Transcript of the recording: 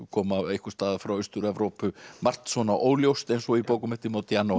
koma einhvers staðar frá Austur Evrópu margt svona óljóst eins og í bókum eftir